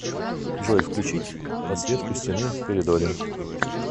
джой включить подсветку стены в коридоре